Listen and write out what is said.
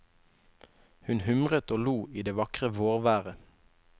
Hun humret og lo i det vakre vårværet.